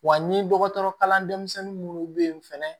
Wa n ye dɔgɔtɔrɔ kalan denmisɛnnin minnu bɛ yen fɛnɛ